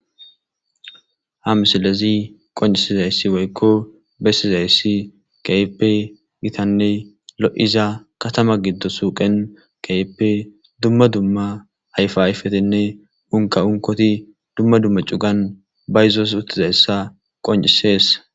ha misilezi qoncisizayssi woykko bessizayssi keehipe gitanne lo'iza katama giddon suuqen keeyippe dumma dumma ayfa ayfetinne unka unkoti dumma dumma cugan bayzos uttizayssa qoncisees